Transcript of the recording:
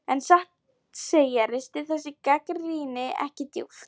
En satt að segja ristir þessi gagnrýni ekki djúpt.